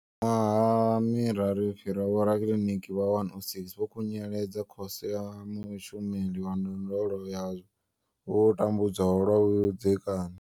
Miṅwaha miraru yo fhiraho, vhorakiliniki vha 106 vho khunyeledza Khoso ya mushumeli wa ndondolo ya vho tambudzwaho lwa vhudzekani.